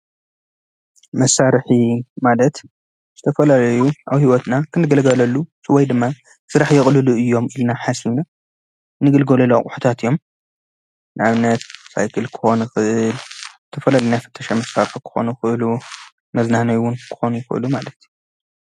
መሳሪሒ ማለት ዝተፈላለዩ አብ ሂወትና ክንግልግለሉ ወይ ድማ ሰራሕ የቅልሉ እዩም ኢልና ሓሲብና እንግልገለሉ አቁሑታት እዩም፡፡ ንአብነት ሳይክል ክከውን ይክእል ዝተፈላለዩ ናይ ፍተሻ መሳሪሒ ክኮኑ ይክእሉ መዝናነይ እውን ክኮኑ ይክእሉ ማለት እዩ፡፡